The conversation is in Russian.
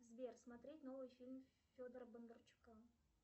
сбер смотреть новый фильм федора бондарчука